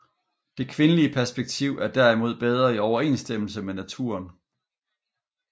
Det kvindelige perspektiv er derimod bedre i overensstemmelse med naturen